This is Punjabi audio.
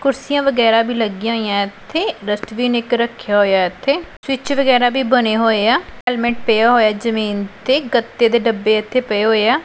ਕੁਰਸੀਆਂ ਵਗੈਰਾ ਵੀ ਲੱਗਿਆਂ ਹੋਈਆਂ ਇੱਥੇ ਡਸਟਬਿਨ ਇੱਕ ਰੱਖਿਆ ਹੋਇਆ ਇੱਥੇ ਸਵਿੱਚ ਵਗੈਰਾ ਵੀ ਬਨੇ ਹੋਏਆ ਹੈਲਮੇਟ ਪਿਆ ਹੋਇਆ ਹੈ ਜਮੀਨ ਤੇ ਗੱਤੇ ਦੇ ਡੱਬੇ ਇੱਥੇ ਪਏ ਹੋਇਆਂ।